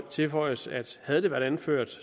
tilføjes at havde det været anført